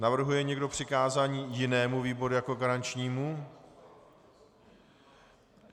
Navrhuje někdo přikázání jinému výboru jako garančnímu?